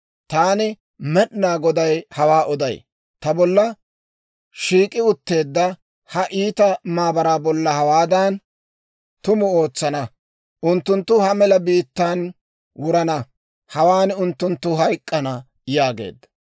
Taani Med'inaa Goday hawaa oday. Ta bolla shiik'i utteedda ha iita maabaraa bolla hawaadan tumu ootsana: unttunttu ha mela biittaan wurana; hawaan unttunttu hayk'k'ana» yaageedda.